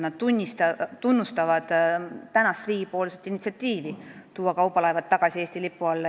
Nad tunnustavad riigi initsiatiivi tuua kaubalaevad tagasi Eesti lipu alla.